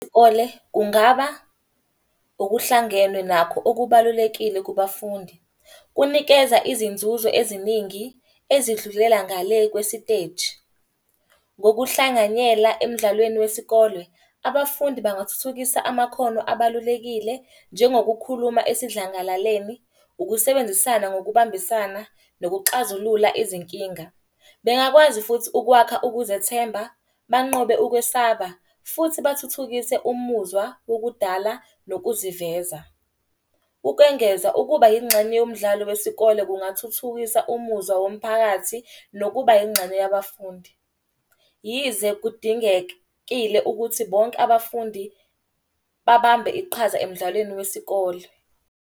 Izikole kungaba okuhlangene nakho okubalulekile kubafundi. Kunikeza izinzuzo eziningi ezidlulela ngale kwesiteji. Ngokuhlanganyela emdlalweni wesikole, abafundi bangathuthukisa amakhono abalulekile njengokukhuluma esidlangalaleni, ukusebenzisana ngokubambisana nokuxazulula izinkinga. Bengakwazi futhi ukwakha ukuzethemba, banqobe ukwesaba, futhi bathuthukise umuzwa wokudala nokuziveza. Ukwengeza ukuba yingxenye yomdlalo wesikole kungathuthukisa umuzwa womphakathi nokuba yingxenye yabafundi. Yize kudingekile ukuthi bonke abafundi babambe iqhaza emdlalweni wesikole.